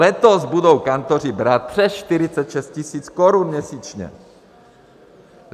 Letos budou kantoři brát přes 46 tisíc korun měsíčně.